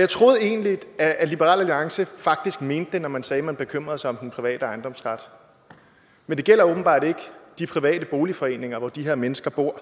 jeg troede egentlig at liberal alliance faktisk mente det når man sagde at man bekymrede sig om den private ejendomsret men det gælder åbenbart ikke de private boligforeninger hvor de her mennesker bor